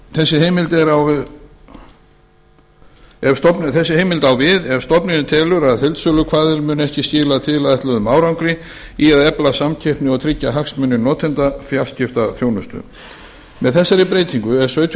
þessi heimild á við ef stofnunin telur að heildsölukvaðir muni ekki skila tilætluðum árangri í að efla samkeppni og tryggja hagsmuni notenda fjarskiptaþjónustu með þessari breytingu er sautjánda